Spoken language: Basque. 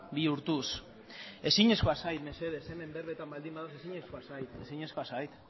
bihurtuz ezinezkoa zait mesedez hemen berbetan baldin badaude ezinezkoa zait